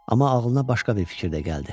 Amma ağlına başqa bir fikir də gəldi.